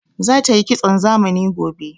Za tayi kitson zamani gobe